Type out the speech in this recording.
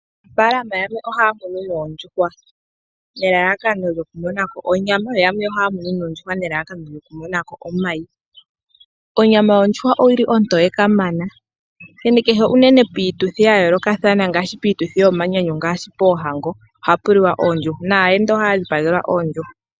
Aanafaalama yamwe ohaya munu noondjuhwa, nelalakano lyokumona ko onyama. Yo yamwe ohaya munu noondjuhwa nelalakano lyokumona ko omayi. Onyama yondjuhwa ontoye kamana, onkene kehe piituthi yomanyanyu ngaashi poohango ohapu liwa oondjuhwa. Naayenda ohaya dhipagelwa oondjuhwa.